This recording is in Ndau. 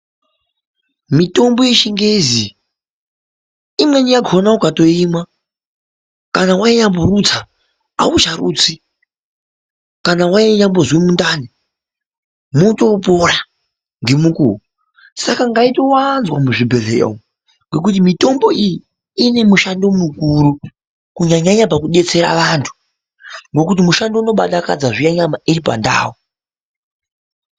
Mitombo yeChiNgezi, imweni yakona ukatoimwa, kana wainyamborutsa haucharutsi, kana wainyambozwe mundani, motoopora ngemukuwo. Saka ngaitowanzwa muzvibhedhleya umu, ngokuti mitombo iyi ine mushando mukuru kunyanya-nyanya pakudetsera vantu, ngokuti mushando unobadakadza zviya nyama iri pandau.